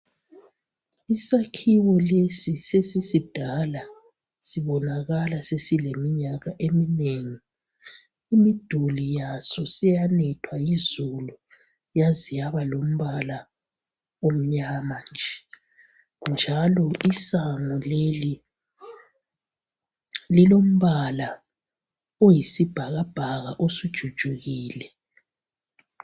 Isakhiwo lesi sesisidala sibonakala sileminyaka eminengi. Imduli yazo siyanethwa yizulu yaze yaba lompala omnyama nje njalo isango leli lilompala oyisibhakabhaka osujujukile.